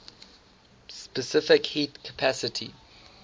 specific heat capacity